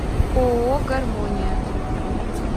ооо гармония